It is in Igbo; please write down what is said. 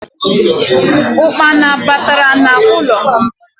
Ụkpana batara n’ụlọ